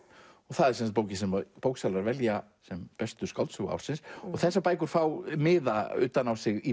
það er bókin sem bóksalar velja sem bestu skáldsögu ársins þessar bækur fá miða utan á sig í